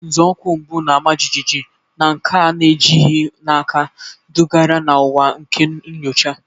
Nzọụkwụ mbụ, na-ama jijiji na nke a na-ejighị n'aka, dugara na ụwa nke nyocha.